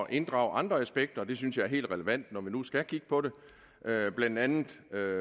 inddrage andre aspekter og det synes jeg er helt relevant når vi nu skal kigge på det blandt andet